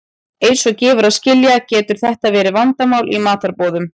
Eins og gefur að skilja getur þetta verið vandamál í matarboðum.